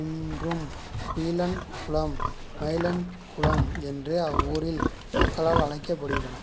இன்றும் குயிலாள் குளம் மயிலாள் குளம் என்று அவ்வூர் மக்களால் அழைக்கப்படுகின்றன